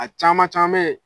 A caman caman ye